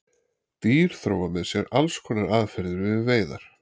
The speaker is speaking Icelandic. Dýr þróa með sér alls konar aðferðir við veiðar.